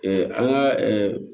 an ka